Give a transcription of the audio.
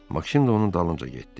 Maksim də onun dalınca getdi.